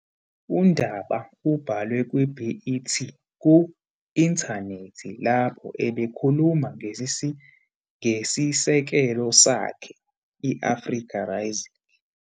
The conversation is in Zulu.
UNdaba ubhalwe kwi-BET ku-inthanethi lapho ebekhuluma ngesisekelo sakhe, i-Africa Rising.